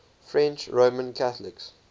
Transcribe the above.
french roman catholics